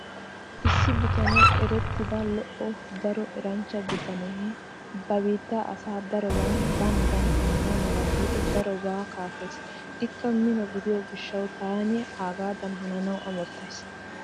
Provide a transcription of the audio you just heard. Issi biittan erettida lo'o daro eranchcha bitanee ba biittaa asaa daroban banadan hanana mala giidi daroban kaafees. Ikka mino gidiyo gishshawu taani aagaadan hananawu amottays.